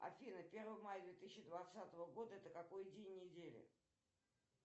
афина первое мая две тысячи двадцатого года это какой день недели